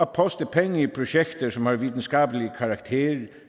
poste penge i projekter som har videnskabelig karakter